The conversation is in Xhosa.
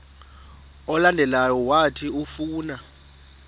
olandelayo owathi ufuna